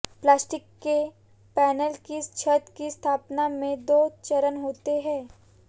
plastic के panel की छत की स्थापना में दो चरण होते हैं